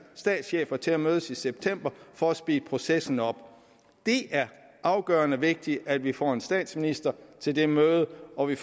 statschefer til at mødes i september for at speede processen op det er afgørende vigtigt at vi får en statsminister til det møde og vi